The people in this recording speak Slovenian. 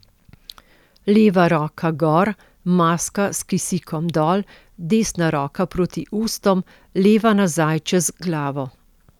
Leva roka gor, maska s kisikom dol, desna roka proti ustom, leva nazaj čez glavo.